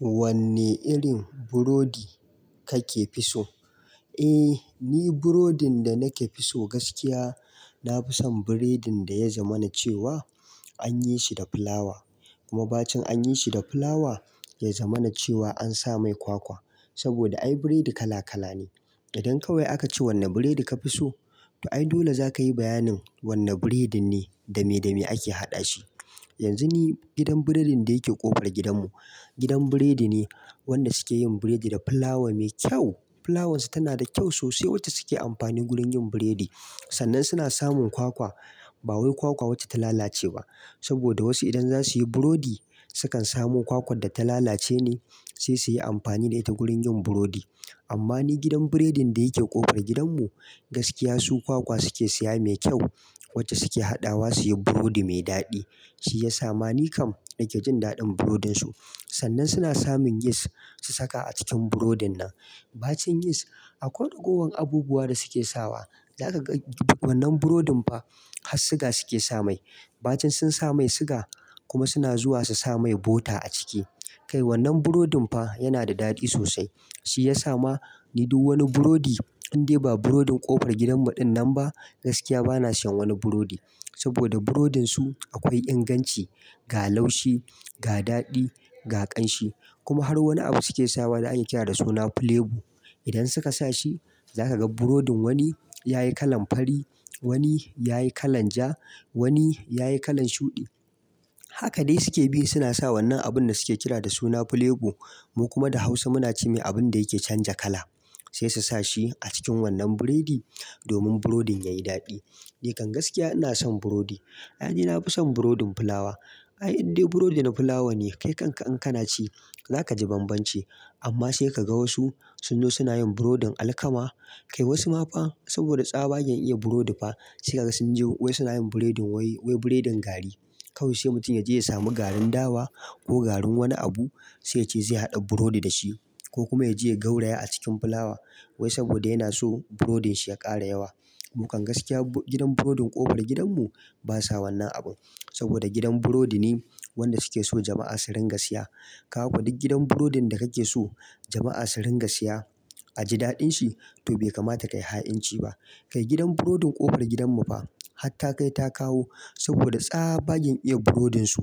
Wanne irin burodi kake fi so? Eh ni burodin da nake fi so gaskiya na fi son burodin da ya zamana cewa anyi shi da fulawa. Kuma bacin anyi shi da fulawa ya zamana cewa an sa mai kwakwa. Saboda ai burodi kala kala ne. Idan kawai aka ce wanne burodi ka fi so to ai dole za ka yi bayanin wanne burodin ne, da me da me ake haɗa shi. Yanzu ni gidan burodin da yake ƙofar gidanmu, gidan burodi ne wanda suke yin burodi da fulawa mai kyau. Fulawarsu tana da kyau sosai wacce suke amfani wurin yin burodi. Sannan suna samun kwakwa, ba wai kwakwa wacce ta lalace ba. Saboda wasu idan za su yi burodi sukan samu kwakwar da ta lalace ne sai su yi amfani da ita wurin yin burodi. Amma ni gidan burodin da yake ƙofar gidanmu gaskiya su kwakwa suke siya mai kyau wacce suke haɗawa su yi burodi mai daɗi. Shi ya sa ma ni kam nake jin daɗin burodinsu. Sannan suna samun yis su saka a cikin burodin nan. Bacin yis akwai ragowar abubuwa da suke sawa. Za ka ga wannan burodin fa har siga suke sa mai. Bacin sun sa mai siga kuma suna zuwa su sa mai bota a ciki. Kai wannan burodin fa yana da daɗi sosai. Shi ya sa ma ni duk wani burodi in dai ba burodin ƙofar gidanmu din nan ba gaskiya bana siyan wani burodi. Saboda burodinsu akwai inganci, ga laushi, ga daɗi, ga ƙamshi. Kuma har wani abu suke sawa da ake kira da suna flebo. Idan suka sa shi za ka ga burodin wani ya yi kalan fari, wani ya yi kalan ja, wani ya yi kalan shuɗi. Haka dai suke bi suna sa wannan abun da suke kira da suna flebo mu kuma da Hausa muna ce mai abun da yake canza kala. Sai su sa shi a cikin wannan burodi domin burodin ya yi daɗi. Nikan gaskiya ina son burodi. Ai ni na fi son burodin fulawa. Ai in dai burodi na fulawa ne kai kanka in kana ci za ka ji banbanci. Amma sai ka ga wasu sun zo suna yin burodin alkama. Kai wasu ma fa saboda tsabagen iya burodi fa sai kaga sun je wai suna yin burodin wai, wai burodin gari. Kawai sai mutum ya je ya samu garin dawa ko garin wani abu sai ya ce zai haɗa burodi da shi. Ko kuma ya je ya gauraya a cikin fulawa wai saboda yana so burodin shi ya ƙara yawa. Mu kan gaskiya gidan burodin ƙofar gidanmu ba sa wannan abu. Saboda gidan burodi ne wanda suke so jama'a su ringa siya. Ka ga ko duk gidan burodin da kake so jama'a su ringa siya a ji daɗin shi to bai kamata ka yi ha'inci ba. Kai gidan burodin ƙofar gidanmu fa hatta kai ta kawo saboda tsabagen iya burodinsu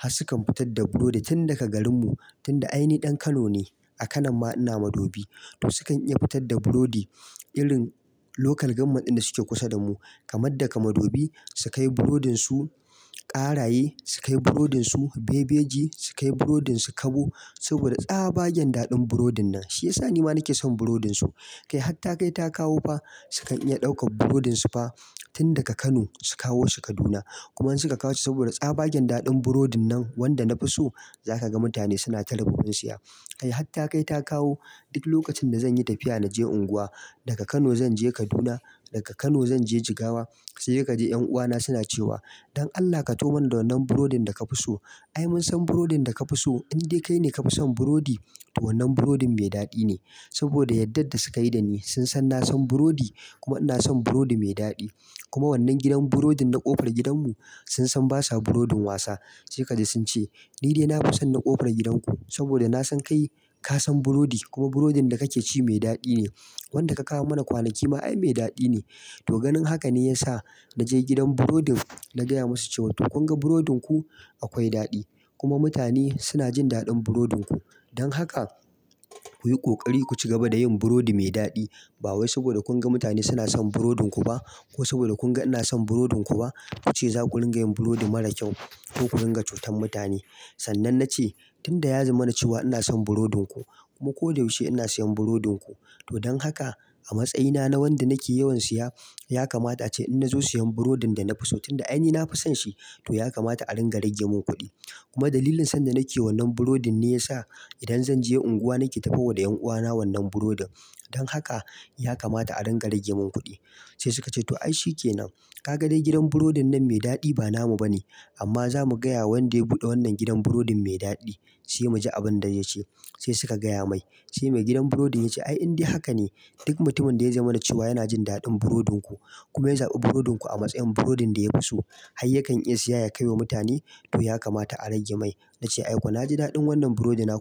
har sukan fitar da burodi tun daga garinmu tun da ai ni ɗan Kano ne a Kano ma ina Madobi. To sukan iya fitar da burodi irin local government din da suke kusa da mu kamar daga Madobi su kai burodinsu, Karaye su kai burodinsu, Bebeji su kai burodinsu, Kabo. Saboda tsabagen daɗin burodin nan. Shi ya sa ni ma nake son burodinsu. Kai har ta kai ta kawo fa sukan iya ɗaukan burodinsu fa tun daga Kano su kawo shi Kaduna. Kuma in suka kawo shi saboda tsabagen daɗin burodin nan wanda na fi so za ka ga mutane suna ta rububin siya. Kai har ta kai ta kawo duk lokacin da zanyi tafiya na je unguwa daga Kano zan je Kaduna, daga Kano zan je Jigawa sai dai kaji 'yan uwa na suna cewa "don Allah ka taho mun da wannan burodin da ka fi so. Ai mun san burodin da ka fi so in dai kai ne ka fi son burodi to wannan burodin mai daɗi ne." Saboda yardar da suka yi da ni sun san na san burodi kuma ina son burodi mai daɗi. Kuma wannan gidan burodin na ƙofar gidanmu sun san basa burodin wasa. Sai kaji sun ce "Ni dai na fi son na ƙofar gidanku saboda na san kai ka san burodi kuma burodin da kake ci mai daɗi ne. Wanda ka kawo mana kwanaki ma ai mai daɗi ne." To ganin haka ne ya sa na je gidan burodin na gaya musu cewa to kun ga burodinku akwai daɗi kuma mutane suna jin daɗin burodinku. Don haka ku yi ƙoƙari ku cigaba da yin burodi mai daɗi. Ba wai saboda kun ga mutane suna son burodinku ba ko saboda kun ga ina son burodinku ba ku ce za ku ringa yin burodi mara kyau ko ku ringa cutar mutane. Sannan na ce tun da ya zamana cewa ina son burodinku kuma ko da yaushe ina siyan burodinku. To don haka a matsayina na wanda nake yawan siya ya kamata a ce in na zo siyan burodin da na fi so tun da ai ni na fi son shi to ya kamata a ringa rage min kuɗi. Kuma dalilin son da nake wa wannan burodin ne ya sa idan zan je unguwa nake taho wa da yan uwa na wannan burodin. Don haka ya kamata a ringa rage min kuɗi. Sai suka ce "to ai shi ke nan. Ka ga dai gidan burodin nan mai daɗi ba namu ba ne amma za mu gaya wa wanda ya buɗe wannan gidan burodin mai daɗi sai mu ji abin da zai ce." Sai suka gaya mai. Sai mai gidan burodin ya ce "Ai in dai haka ne duk mutumin da ya zamana cewa yana jin daɗin burodinku kuma ya zabi burodinku a matsayin burodin da ya fi so, har yakan iya siya ya kai wa mutane to ya kamata a rage mai." Na ce "Aiko na ji daɗin wannan burodin naku"